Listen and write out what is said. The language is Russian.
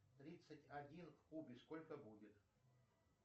тридцать один в кубе сколько будет